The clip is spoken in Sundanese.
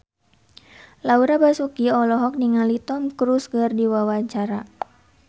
Laura Basuki olohok ningali Tom Cruise keur diwawancara